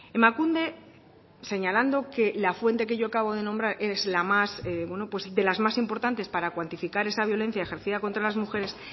emakunde señalando que la fuente que yo acabo de nombrar es la más bueno de las más importantes para cuantificar esa violencia ejercida contra las mujeres